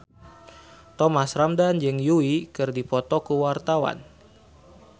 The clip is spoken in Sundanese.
Thomas Ramdhan jeung Yui keur dipoto ku wartawan